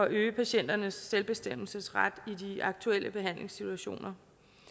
øge patienternes selvbestemmelsesret i de aktuelle behandlingssituationer